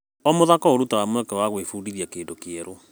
O mũthako ũrutaga mweke wa gwĩbundithia kĩndũ kĩerũ.